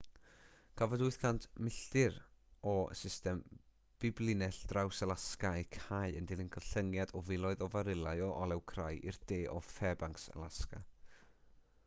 cafodd 800 milltir o system biblinell draws-alasga eu cau yn dilyn gollyngiad o filoedd o farilau o olew crai i'r de o fairbanks alasga